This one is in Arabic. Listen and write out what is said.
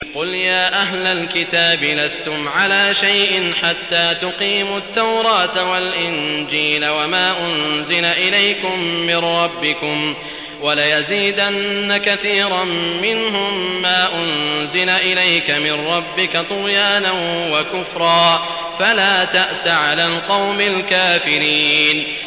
قُلْ يَا أَهْلَ الْكِتَابِ لَسْتُمْ عَلَىٰ شَيْءٍ حَتَّىٰ تُقِيمُوا التَّوْرَاةَ وَالْإِنجِيلَ وَمَا أُنزِلَ إِلَيْكُم مِّن رَّبِّكُمْ ۗ وَلَيَزِيدَنَّ كَثِيرًا مِّنْهُم مَّا أُنزِلَ إِلَيْكَ مِن رَّبِّكَ طُغْيَانًا وَكُفْرًا ۖ فَلَا تَأْسَ عَلَى الْقَوْمِ الْكَافِرِينَ